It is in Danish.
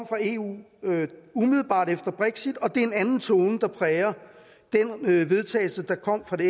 fra eu umiddelbart efter brexit og det er en anden tone der præger den vedtagelse der kom fra det